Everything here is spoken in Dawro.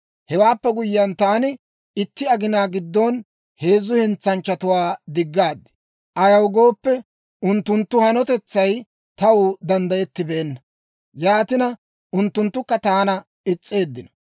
Hewaappe guyyiyaan, taani itti aginaa giddon heezzu hentsanchchatuwaa diggaad. Ayaw gooppe, unttunttu hanotetsay taw danddayettibeenna; yaatina, unttunttukka taana is's'eeddino.